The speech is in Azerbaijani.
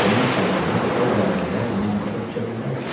Bunun səbəbini o vədələr mən başa düşə bilməzdim.